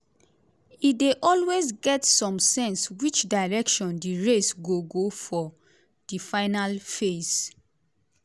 e dey always get some sense which direction di race go go for di final fays.